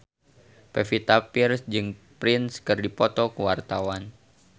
Pevita Pearce jeung Prince keur dipoto ku wartawan